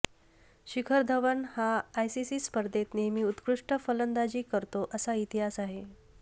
शिखर धवन हा आयसीसी स्पर्धेत नेहमी उत्कृष्ट फलंदाजी करतो असा इतिहास आहे